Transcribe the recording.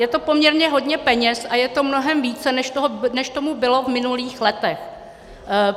Je to poměrně hodně peněz a je to mnohem více, než tomu bylo v minulých letech.